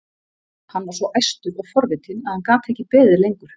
Hann var svo æstur og forvitinn að hann gat ekki beðið lengur.